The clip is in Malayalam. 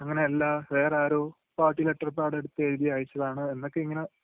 അങ്ങനെയല്ലാ, വേറാരൊ പാർട്ടി ലെറ്റർപാഡ് എടുത്ത് എഴുതി അയച്ചതാണ് എന്നൊക്കെയിങ്ങനെ..